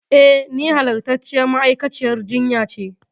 E, ni halastarciyar ma'aikaciyar jinya ce.